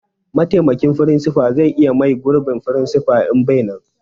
Mataimakin firinsifa zai iya mai gurbin firinsifa in bai nan